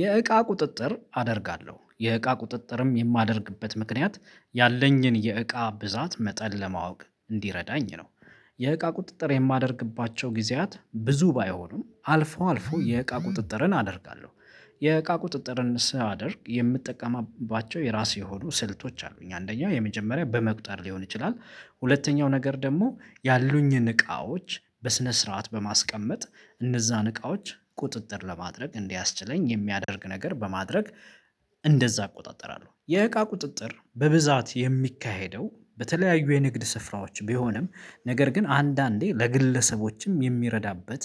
የእቃ ቁጥጥር አደርጋለሁ የእቃ ቁጥጥርም የማደርግበት ምክንያት ያለኝን የእቃ ብዛት መጠን ለማወቅ እንዲረዳኝ ነው። የእቃ ቁጥጥር የማደርግባቸው ጊዜያት ብዙ ባይሆኑም አልፎ አልፎ የእቃ ቁጥጥርን አደርጋለሁ። የእቃ ቁጥጥርን ሳደርግ የምትጠቀማባቸው የራሴ የሆኑ ስልቶች አሉኝ አንደኛው የመጀመሪያ በመቁጠር ሊሆን ይችላል። ሁለተኛው ነገር ደግሞ ያሉኝን እቃዎች በስነ ስርዓት በማስቀመጥ። እነዛን እቃዎች ቁጥጥር ለማድረግ እንዲያስችለኝ የሚያደርግ ነገር በማድረግ እንደዛ አቆጣጠራለሁ። የእቃ ቁጥጥር በብዛት የሚካሄደው በተለያዩ የንግድ ስፍራዎች ቢሆንም ነገር ግን አንዳንዴ ለግለሰቦችም የሚረዳበት